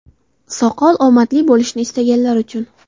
Soqol – omadli bo‘lishni istaganlar uchun.